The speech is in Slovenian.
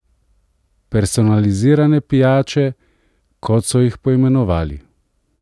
Personalizirane pijače, kot so jih poimenovali.